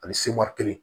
Ani kelen